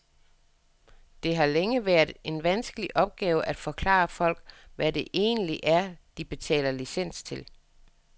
Det har længe været en vanskelig opgave at forklare folk, hvad det egentlig er, de betaler licens til.